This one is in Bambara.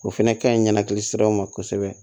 O fɛnɛ ka ɲi ɲɛnɛkili siraw ma kosɛbɛ